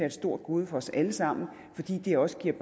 et stort gode for os alle sammen fordi det også giver